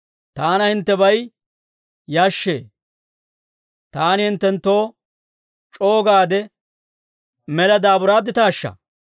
Taana hinttebay yashshee; taani hinttenttoo c'oo gaade mela daaburaadditaashsha?